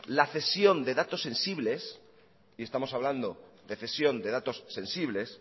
la cesión de datos sensibles y estamos hablando de cesión de datos sensibles